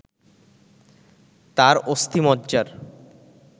তার অস্থিমজ্জার